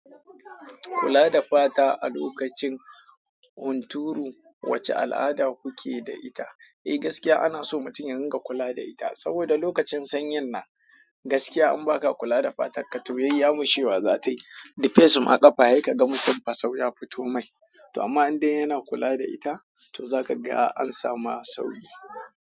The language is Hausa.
Kula da fata a lokacin hunturu, wace al'ada kuke da ita? Eh gaskiya ana so mutum ya riƙa kula da ita. Soboda lokacin sanyin nan gaskiya in baka kula da fatar ka to yayyamushewa zatayi sai ka ga mutum ba fasau ya fito mai. To amma in dai yana kula da ita, to zaka ga an samu sauki.